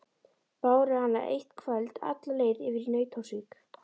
Báru hana eitt kvöld alla leið yfir í Nauthólsvík.